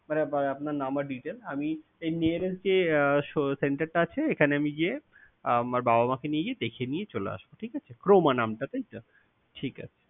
মানে আপনার নাম আর detail আমি এই Nearest যে centre টা আছে এখানে আমি গিয়ে আমার বাবা মা কে নিয়ে গিয়ে দেখিয়ে নিয়ে চলে আসব ঠিকাছে। Croma নামটা তাইতো? ঠিকাছে।